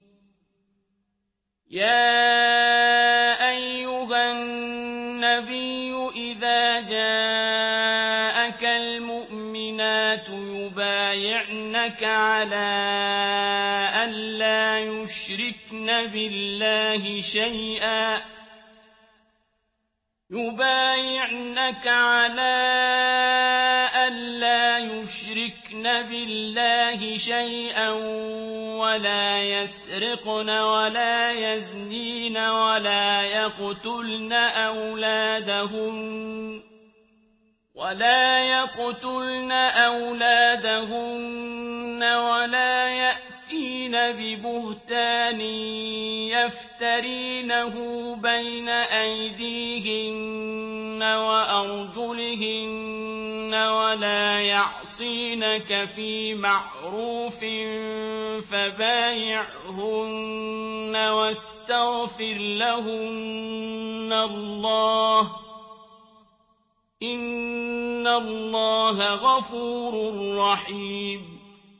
يَا أَيُّهَا النَّبِيُّ إِذَا جَاءَكَ الْمُؤْمِنَاتُ يُبَايِعْنَكَ عَلَىٰ أَن لَّا يُشْرِكْنَ بِاللَّهِ شَيْئًا وَلَا يَسْرِقْنَ وَلَا يَزْنِينَ وَلَا يَقْتُلْنَ أَوْلَادَهُنَّ وَلَا يَأْتِينَ بِبُهْتَانٍ يَفْتَرِينَهُ بَيْنَ أَيْدِيهِنَّ وَأَرْجُلِهِنَّ وَلَا يَعْصِينَكَ فِي مَعْرُوفٍ ۙ فَبَايِعْهُنَّ وَاسْتَغْفِرْ لَهُنَّ اللَّهَ ۖ إِنَّ اللَّهَ غَفُورٌ رَّحِيمٌ